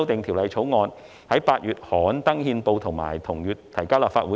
《條例草案》於8月刊憲，並於同月提交立法會。